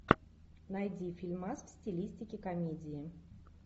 найди фильмас в стилистике комедии